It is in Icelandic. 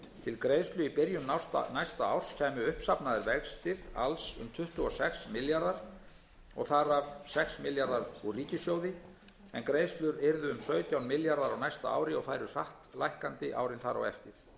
til greiðslu í byrjun næsta árs kæmu uppsafnaðir vextir alls um tuttugu og sex milljarðar króna þar af sex milljarðar króna úr ríkissjóði en greiðslur yrðu um sautján milljarðar króna á næsta ári og færu hratt lækkandi árin þar á eftir greiðslum yrði að fullu